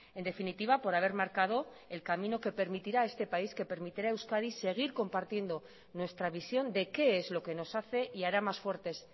en definitiva por haber marcado el camino que permitirá a este país que permitirá a euskadi seguir compartiendo nuestra visión de qué es lo que nos hace y hará más fuertes